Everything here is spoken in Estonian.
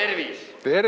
Tervis!